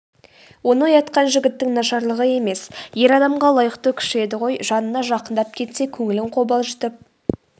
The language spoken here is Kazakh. оны оятқан жігіттің нашарлығы емес ер адамға лайықты күші еді ғой жанына жақындап кетсе көңілін қобалжытып